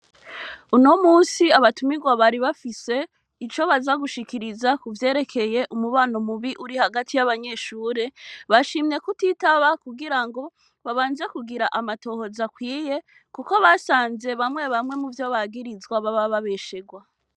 Uno munsi abatumirwa bari bafise ico baza gushikiriza kuvyerekeye umubano mubi uri hagati yabanyeshure bashimye kutitaba kugirango babanze kugira amatohoza akwiye kuko basanze bamwe bamwe muvyo bagirizwa baba babesherwa.